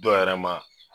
Dɔ yɛrɛ ma